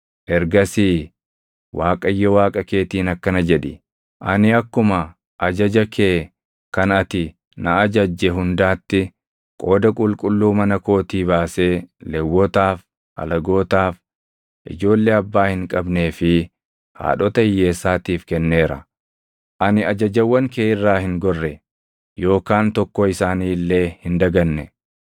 Ergasii Waaqayyo Waaqa keetiin akkana jedhi; “Ani akkuma ajaja kee kan ati na ajajje hundaatti qooda qulqulluu mana kootii baasee Lewwotaaf, alagootaaf, ijoollee abbaa hin qabnee fi haadhota hiyyeessaatiif kenneera. Ani ajajawwan kee irraa hin gorre yookaan tokkoo isaanii illee hin daganne.